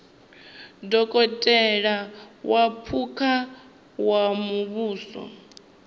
dokotela wa phukha wa muvhuso